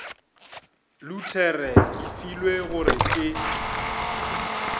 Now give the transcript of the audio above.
luthere ke filwe gore ke